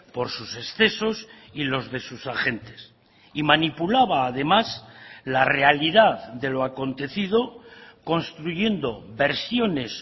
por sus excesos y los de sus agentes y manipulaba además la realidad de lo acontecido construyendo versiones